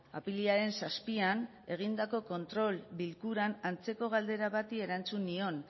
apirilaren zazpian egindako kontrol bilkuran antzeko galdera bati erantzun nion